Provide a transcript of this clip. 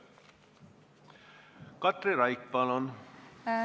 Katri Raik, palun!